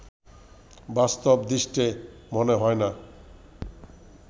বাস্তব দৃষ্টে মনে হয় না